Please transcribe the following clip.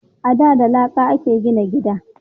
A da da laƙa a ke gina gida